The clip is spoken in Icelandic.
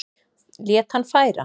Lét hann færa